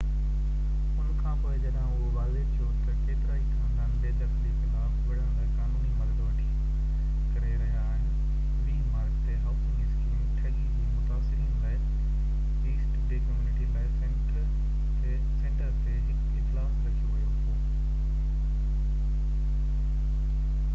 ان کانپوءِ جڏهن اهو واضع ٿيو ته ڪيترائي خاندان بي دخلي خلاف وڙهڻ لاءِ قانوني مدد وٺي ڪري رهيا آهن، 20 مارچ تي هائوسنگ اسڪيم ٺڳي جي متاثرين لاءِ East Bay Community Law Centre تي هڪ اجلاس رکيو ويو هو